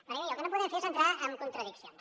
perquè miri el que no podem fer és entrar en contradiccions